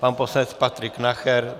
Pan poslanec Patrik Nacher?